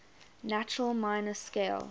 natural minor scale